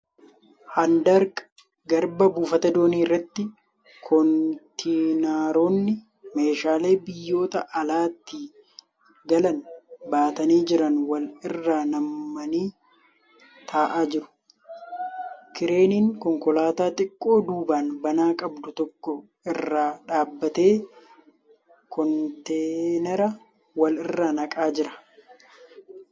Handaarq garbaa buufata doonii irratti kontiinaroonni meeshaa biyyoota alaatii galan baatanii jiran wal irra nammanii taa'aa jiru. kireeniin Konkolaataa xiqqoo duuban banaa qabdu tokko irra dhaabbatee konteenara wal irra naqaa jira.